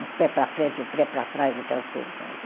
Um pé para frente, um pé para trás, aquelas coisas assim.